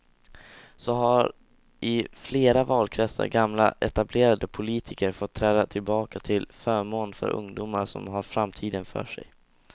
Så har i flera valkretsar gamla etablerade politiker fått träda tillbaka till förmån för ungdomar som har framtiden för sig.